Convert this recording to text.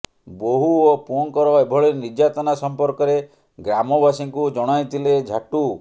ବୋହୂ ଓ ପୁଅଙ୍କର ଏଭଳି ନିର୍ଯାତନା ସଂପର୍କରେ ଗ୍ରାମବାସୀଙ୍କୁ ଜଣାଇଥିଲେ ଝାଟୁ